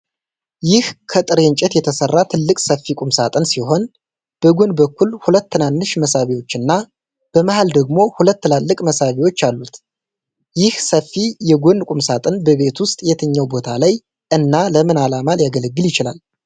ይህ ከጥሬ እንጨት የተሰራ ትልቅ ሰፊ ቁምሳጥን ሲሆን፣ በጎን በኩል ሁለት ትናንሽ መሳቢያዎች እና በመሃል ደግሞ ሁለት ትላልቅ መሳቢያዎች አሉት። ይህ ሰፊ የጎን ቁምሳጥን በቤት ውስጥ የትኛው ቦታ ላይ እና ለምን ዓላማ ሊያገለግል ይችላል?